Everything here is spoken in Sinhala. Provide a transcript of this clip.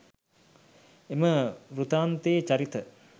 එම වෘත්තාන්තයේ චරිත